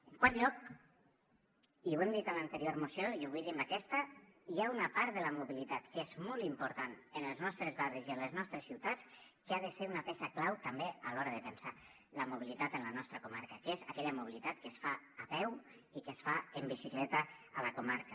en quart lloc i ho hem dit en l’anterior moció i ho vull dir en aquesta hi ha una part de la mobilitat que és molt important en els nostres barris i en les nostres ciutats que ha de ser una peça clau també a l’hora de pensar la mobilitat en la nostra comarca que és aquella mobilitat que es fa a peu i que es fa en bicicleta a la comarca